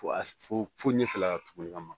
fo a fo ɲɛfɛla la tuguni ma